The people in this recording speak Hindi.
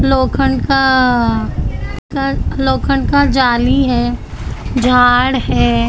लोखंड का का लोखंड का जाली है झाड़ है।